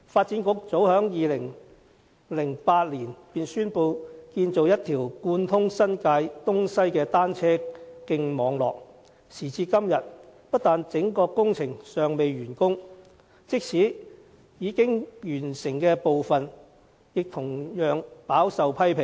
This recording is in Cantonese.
早在2008年，發展局已宣布建造一個貫通新界東西的單車徑網絡，可是，時至今天，整個工程不但尚未完工，即使是已完成的部分，也備受批評。